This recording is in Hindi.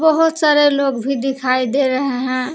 बहुत सारे लोग भी दिखाई दे रहे हैं।